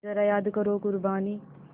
ज़रा याद करो क़ुरबानी